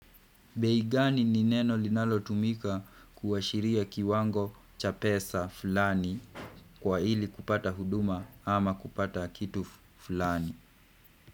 Bei gani ni neno linalotumika kuashiria kiwango cha pesa fulani kwa ili kupata huduma ama kupata kitu fulani.